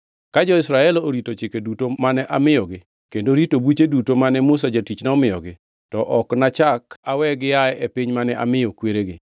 Ka jo-Israel orito chike duto mane amiyogi kendo rito buche duto mane Musa jatichna omiyogi, to ok anachak awe gia e piny mane amiyo kweregi.”